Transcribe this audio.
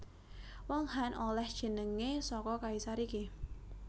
Wong Han olèh jenengé saka kaisar iki